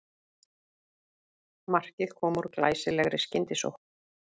Markið kom úr glæsilegri skyndisókn